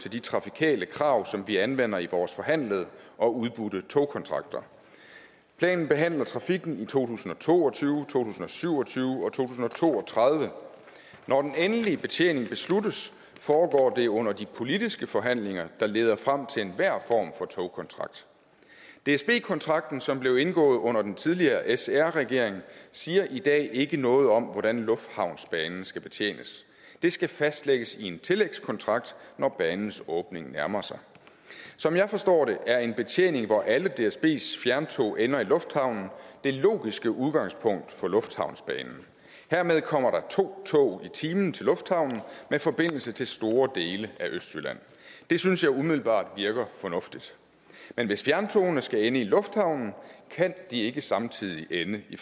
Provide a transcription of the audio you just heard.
til de trafikale krav som vi anvender i vores forhandlede og udbudte togkontrakter planen behandler trafikken i to tusind og to og tyve to tusind og syv og tyve og to tusind og to og tredive når den endelige betjening besluttes foregår det under de politiske forhandlinger der leder frem til enhver form for togkontrakt dsb kontrakten som blev indgået under den tidligere sr regering siger i dag ikke noget om hvordan lufthavnsbanen skal betjenes det skal fastlægges i en tillægskontrakt når banens åbning nærmer sig som jeg forstår det er en betjening hvor alle dsbs fjerntog ender i lufthavnen det logiske udgangspunkt for lufthavnsbanen hermed kommer der to tog i timen til lufthavnen med forbindelse til store dele af østjylland det synes jeg umiddelbart virker fornuftigt men hvis fjerntogene skal ende i lufthavnen kan de ikke samtidig ende i